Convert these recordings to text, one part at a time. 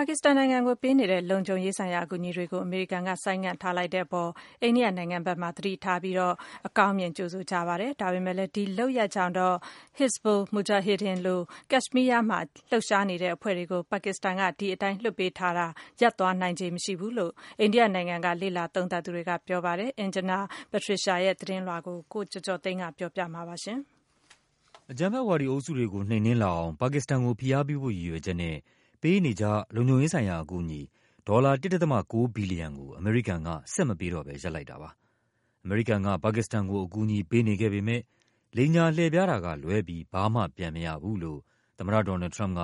ါကစ္စတန်နိုင်ငံကိုပေးနေတဲ့ လုံခြုံရေးဆိုင်ရာ အကူအညီတွေကို အမေရိကန်က ဆိုင်းငံ့ထားလိုက်တဲ့အပေါ် အိန္ဒိယနိုင်ငံဘက်မှာ သတိထားပြီး အကောင်းမြင်ကြိုဆိုကြပါတယ်။ ဒါပေမဲ့လဲ ဒီလုပ်ရပ်ကြောင့်တော့ Hizbul Mujahideen လို ကက်ရှ်မီးယားမှာ လှုပ်ရှားနေတဲ့အဖွဲ့တွေကို ပါကစ္စတန်က ဒီတိုင်းလွှတ်ပေးထားတာ ရပ်သွားနိုင်ခြေ မရှိဘူးလို့ အိန္ဒိယနိုင်ငံက လေ့လာသုံးသပ်သူတွေက ပြောပါတယ်။ Anjana Pasricha ရဲ့သတင်းလွှာကို ကိုကျော်ကျော်သိန်းက ပြောပြပါမယ်။ အကြမ်းဖက်ဝါဒီအုပ်စုတွေကို နှိမ်နင်းလာအောင် ပါကစ္စတန်ကို ဖိအားပေးဖို့ ရည်ရွယ်ချက်နဲ့ ပေးနေကျ လုံခြုံရေးဆိုင်ရာ အကူအညီ ဒေါ်လာ ၁.၉ ဘီလီယံကို အမေရိကန်က ဆက်မပေးတော့ဘဲ ရပ်လိုက်တာပါ။ အမေရိကန်က ပါကစ္စတန်ကို အကူ အညီပေးနေခဲ့ပေမဲ့ လိမ်ညာလှည့်ဖျားတာကလွဲပြီး ဘာမှပြန်မရဘူးလို့ သမ္မတ ဒေါ်နယ်လ်ဒ် ထရမ့်ပ်က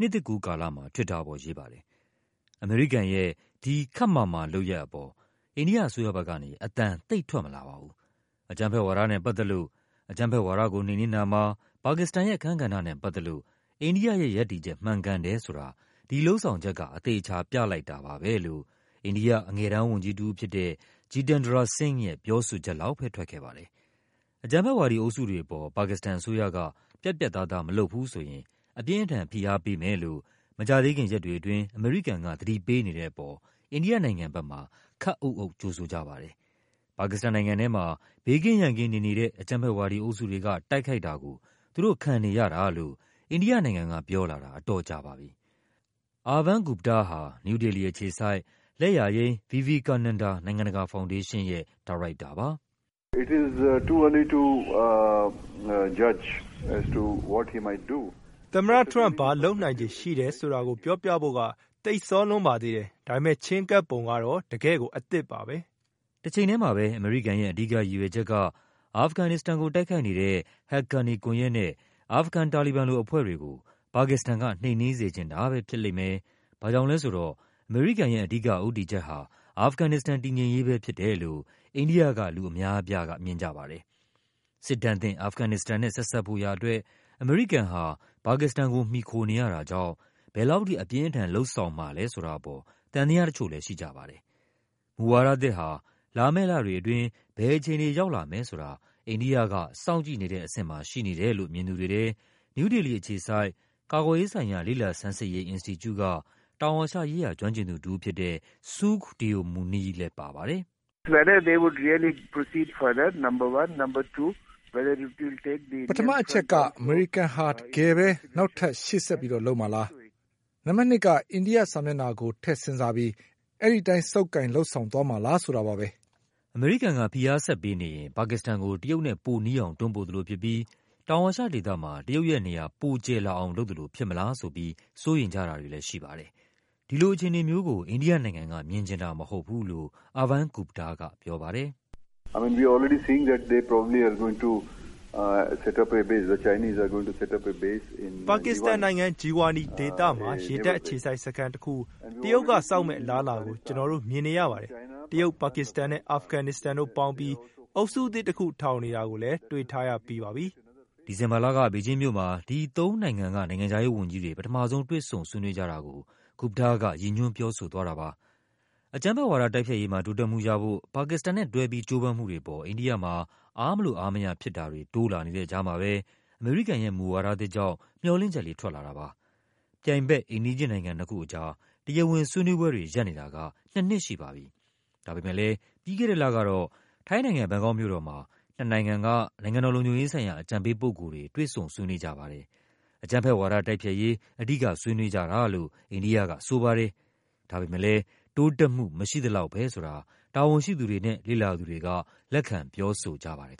နှစ်သစ်ကူးကာလမှာ Twitter ပေါ်ရေးပါတယ်။ အမေရိကန်ရဲ့ ဒီ ခပ်မာမာလုပ်ရပ်အပေါ် အိန္ဒိယအစိုးရဘက်ကနေ အသံသိပ်ထွက်မလာပါဘူး။ အကြမ်းဖက်ဝါဒနဲ့ပတ်သက်လို့၊ အကြမ်းဖက်ဝါဒကို နှိမ်နင်းတာမှာ ပါကစ္စတန်ရဲ့အခန်းကဏ္ဍနဲ့ ပတ်သက်လို့ အိန္ဒိယရဲ့ရပ်တည်ချက် မှန်ကန်တယ်ဆိုတာ ဒီ လုပ်ဆောင်ချက်က အသေအချာပြလိုက်တာပါပဲလို့ အိန္ဒိယအငယ်တန်းဝန်ကြီးတဦးဖြစ်တဲ့ Jitendra Singh ရဲ့ ပြောဆိုချက် လောက်ပဲ ထွက်ခဲ့ပါတယ်။ အကြမ်းဖက်ဝါဒီအုပ်စုတွေအပေါ် ပါကစ္စတန်အစိုးရက ပြတ်ပြတ်သားသား မလုပ်ဘူးဆိုရင် အပြင်းအထန် ဖိအားပေးမယ်လို့ မကြာသေးခင်ရက်တွေအတွင်း အမေရိကန်က သတိပေးနေတဲ့အပေါ် အိန္ဒိယနိုင်ငံဘက်မှာ ခပ်အုပ်အုပ် ကြိုဆိုကြပါတယ်။ ပါကစ္စတန်နိုင်ငံထဲမှာ ဘေးကင်းရန်ကင်းနေနေတဲ့ အကြမ်းဖက်ဝါဒီအုပ်စုတွေက တိုက်ခိုက်တာကို သူတို့ခံနေရတာလို့ အိန္ဒိယ နိုင်ငံကပြောလာတာ အတော်ကြာပါပြီ။ Arvind Gupta ဟာ နယူးဒေလီအခြေစိုက် လက်ယာယိမ်း Vivekananda နိုင်ငံတကာဖောင်ဒေးရှင်းရဲ့ ညွှန်ကြားရေးမှူးပါ “သမ္မတထရမ့်ပ် ဘာလုပ်နိုင်ခြေရှိတယ်ဆိုတာကို ပြောဖို့က သိပ်စောလွန်းပါသေးတယ်။ ဒါပေမဲ့ ချဉ်းကပ်ပုံက တော့ တကယ့်ကို အသစ်ပါပဲ။” တချိန်ထဲမှာပဲ အမေရိကန်ရဲ့ အဓိကရည်ရွယ်ချက်က အာဖဂန်နစ္စတန်ကို တိုက်ခိုက်နေတဲ့ ဟက်ကာနီကွန်ယက်နဲ့ အာဖဂန် တာလီဘန်လိုအဖွဲ့တွေကို ပါကစ္စတန်က နှိမ်နင်းစေချင်တာပဲ ဖြစ်လိမ့်မယ်၊ ဘာ့ကြောင့်လဲဆိုတော့ အမေရိကန်ရဲ့ အဓိက ဦးတည်ချက်ဟာ အာဖဂန်နစ္စတန် တည်ငြိမ်ရေးပဲဖြစ်တယ်လို့ အိန္ဒိယက လူအများအပြားမြင်ကြပါတယ်။ စစ်ဒဏ်သင့် အာဖဂန် နစ္စတန်နဲ့ ဆက်စပ်ဖို့ရာအတွက် အမေရိကန်ဟာ ပါကစ္စတန်ကို မှီခိုနေရတာကြောင့် ဘယ်လောက်ထိ အပြင်းအထန် လုပ်ဆောင် မှာလဲဆိုတာအပေါ် သံသယတချို့လဲရှိကြပါတယ်။ မူဝါဒသစ်ဟာ လာမယ့်လတွေအတွင်း ဘယ်အခြေအနေ ရောက်လာမယ်ဆိုတာ အိန္ဒိယက စောင့်ကြည့်နေတဲ့အဆင့်မှာ ရှိနေ တယ်လို့ မြင်သူတွေထဲ နယူးဒေလီအခြေစိုက် ကာကွယ်ရေးဆိုင်ရာ လေ့လာဆန်းစစ်ရေး အင်စတီကျူက တောင်အာရှရေးရာ ကျွမ်းကျင်သူတဦးဖြစ်တဲ့ Sukh Deo Muni ကပြောပါတယ်။ “ပထမအချက်က အမေရိကန်ဟာ တကယ်ပဲ နောက်ထပ် ရှေ့ဆက်လုပ်မှာလား၊ နံပါတ်နှစ်က အိန္ဒိယ မျက်နှာစာကို ထည့်စဉ်းစားပြီး အဲဒီအတိုင်း ဆုပ်ကိုင် လုပ်ဆောင်သွားမှာလား ဆိုတာပါပဲ။” အမေရိကန်က ဖိအားဆက်ပေးနေရင် ပါကစ္စတန်ကို တရုတ်နဲ့ ပိုနီးအောင် တွန်းပို့သလိုဖြစ်ပြီး တောင်အာရှဒေသမှာ တရုတ်ရဲ့ နေရာ ပိုကျယ်လာအောင်လုပ်သလို ဖြစ်မလားဆိုပြီး စိုးရိမ်ကြတာတွေလဲရှိပါတယ်။ ဒီလိုအခြေအနေကိုတော့ အိန္ဒိယနိုင်ငံက မြင်ချင်တာမဟုတ်ဘူးလို့ Arvind Gupta ကပြောပါတယ်။ “ပါကစ္စတန်နိုင်ငံ၊ Jiwani ဒေသမှာ ရေတပ်အခြေစိုက်စခန်းတခု တရုတ်က ဆောက်လာမယ့်အလားအလာကို ကျနော် တို့မြင်နေရပါတယ်။ တရုတ်၊ ပါကစ္စတန်နဲ့ အာဖဂန်နစ္စတန်တို့ပေါင်းပြီး အုပ်စုသစ်တခု ထောင်နေတာကိုလဲ တွေ့ထားရပြီးပါပြီ။” ဒီဇင်ဘာလက ဘေဂျင်းမြို့မှာ ဒီသုံးနိုင်ငံက နိုင်ငံခြားရေးဝန်ကြီးတွေ ပထမဆုံး တွေ့ဆုံ ဆွေးနွေးကြတာကို Gupta က ရည်ညွှန်း ပြောဆိုသွားတာပါ။ အကြမ်းဖက်ဝါဒ တိုက်ဖျက်ရေးမှာ တိုးတက်မှုရဖို့ ပါကစ္စတန်နဲ့တွဲပြီး ကြိုးပမ်းမှုတွေအပေါ် အိန္ဒိယမှာ အားမလိုအားမရဖြစ်တာ တွေတိုးလာနေတဲ့ကြားမှာပဲ အမေရိကန်ရဲ့မူဝါဒသစ်ကြောင့် မျှော်လင့်ချက်လေး ထွက်လာပါတယ်။ ပြိုင်ဘက် အိမ်နီးချင်းနိုင်ငံ နှစ်ခုအကြား တရားဝင်ဆွေးနွေးပွဲတွေ ရပ်နေတာက နှစ်နှစ်ရှိပါပြီ။ ဒါပေမဲ့လဲ ပြီးခဲ့တဲ့လကတော့ ထိုင်းနိုင်ငံ၊ ဘန်ကောက်မြို့ တော်မှာ နှစ်နိုင်ငံက နိုင်ငံတော်လုံခြုံရေးဆိုင်ရာ အကြံပေးပုဂ္ဂိုလ်တွေ တွေ့ဆုံဆွေးနွေးပါတယ်။ အကြမ်းဖက်ဝါဒ တိုက်ဖျက်ရေး အဓိကဆွေးနွေးကြတာလို့ အိန္ဒိယကဆိုပါတယ်။ ဒါပေမဲ့လဲ တိုးတက်မှု မရှိသလောက်ပဲဆိုတာ တာဝန်ရှိသူတွေနဲ့ လေ့လာသူတွေက လက်ခံ ပြောဆိုကြပါတယ်